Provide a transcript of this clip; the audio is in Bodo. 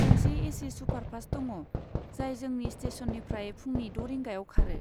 गंसे ए सि सुपारफास्ट दङ, जाय जोंनि स्टेसननिफ्राय फुंनि द' रिंगायाव खारो।